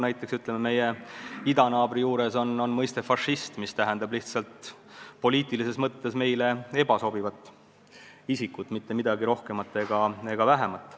Nii nagu meie idanaabrist riigis on mõiste "fašist", mis tähendab lihtsalt poliitilises mõttes ebasoovitavat isikut, mitte midagi rohkemat ega vähemat.